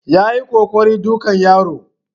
Yayi kokarin dukan yaron